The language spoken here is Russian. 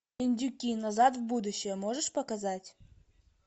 индюки назад в будущее можешь показать